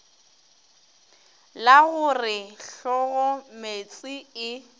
la go re hlogomeetse e